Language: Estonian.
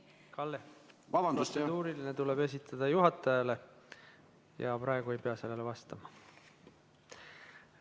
Kalle, protseduuriline küsimus tuleb esitada juhatajale ja minister ei pea sellele vastama.